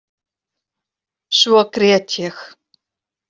Svo grét ég.